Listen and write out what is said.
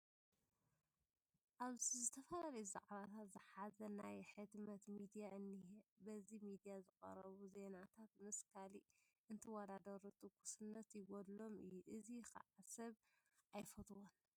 ኣብዚ ዝተፈላለዩ ዛዕባታት ዝሓዘ ናይ ሕትመት ሚድያ እኒሀ፡፡ በዚ ሚድያ ዝቐርቡ ዜናታት ምስ ካልእ እንትወዳዳሩ ትኩስነት ይገድሎም እዩ፡፡ እዚ ከዓ ሰብ ኣይፈትዎን፡፡